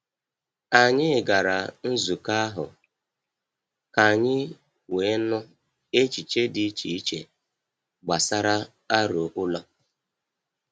Anyị gara nzukọ ahụ ka anyị wee nụ echiche dị iche iche gbasara aro ụlọ.